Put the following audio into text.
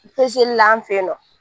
la an fe yen nɔ.